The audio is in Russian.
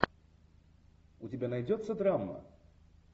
у тебя найдется драма